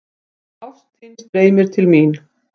Ást þín streymir til mín.